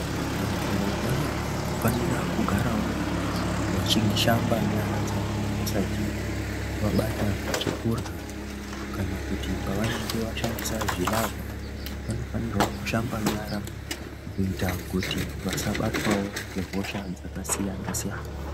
Vantu vanofanira kugarawo vachishamba nyara dzavo vasati vabata chekurya kana kuti pavanenge vashandisa zvilavha. Vanofanirwa kushamba nyara kuita kuti vasabatwawo ngehosha dzakasiyana siyana.